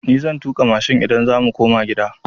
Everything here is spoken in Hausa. Ni zan tuƙa mashin idan za mu koma gida.